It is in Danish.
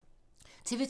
TV 2